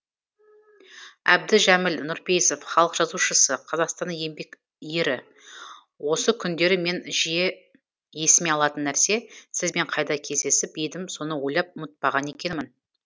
әбдіжәміл нұрпейісов халық жазушысы қазақстанның еңбек ері осы күндері мен жиі есіме алатын нәрсе сізбен қайда кездесіп едім соны ойлап ұмытпаған екенмін